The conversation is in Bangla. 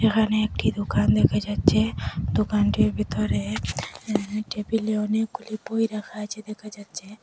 এখানে একটি দোকান দেখা যাচ্চে দোকানটির ভিতরে অ্যাঁ টেবিলে অনেকগুলি বই রাখা আচে দেখা যাচ্চে।